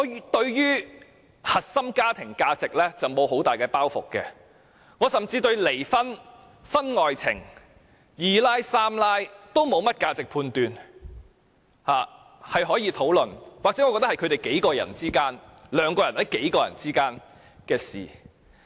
我對於核心家庭價值沒有很大的包袱，甚至對離婚、婚外情、"二奶"、"三奶"都沒有價值判斷，我覺得是可以討論的，或者是兩人或數人之間的事。